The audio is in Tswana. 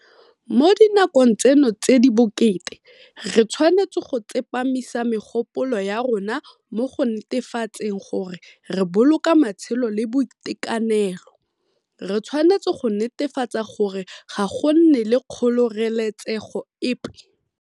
Mo dinakong tseno tse di bokete, re tshwanetse go tsepamisa megopolo ya rona mo go netefatseng gore re boloka matshelo le boitekanelo, re tshwanetse go netefatsa gore ga go nne le kgoreletsego epe